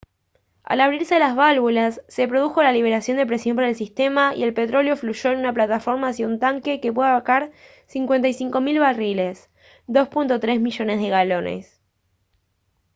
al abrirse las válvulas se produjo la liberación de presión para el sistema y el petróleo fluyó en una plataforma hacia un tanque que puede abarcar 55 000 barriles 2.3 millones de galones